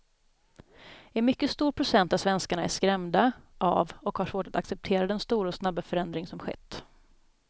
En mycket stor procent av svenskarna är skrämda av och har svårt att acceptera den stora och snabba förändring som skett.